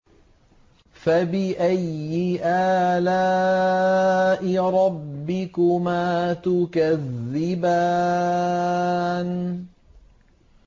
فَبِأَيِّ آلَاءِ رَبِّكُمَا تُكَذِّبَانِ